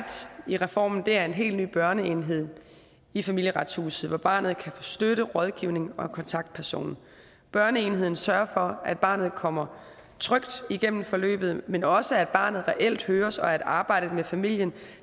i reformen er en helt ny børneenhed i familieretshuset hvor barnet kan få støtte rådgivning og en kontaktperson børneenheden sørger for at barnet kommer trygt igennem forløbet men også at barnet reelt høres og at arbejdet med familien